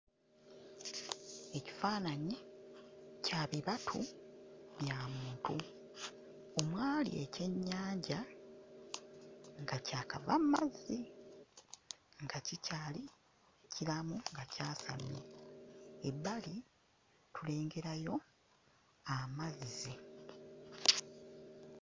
Ekifaananyi kya bibatu bya muntu omwali ekyennyanja nga kyakava mu mazzi nga kikyali kiramu nga kyasamye. Ebbali tulengerayo amazzi.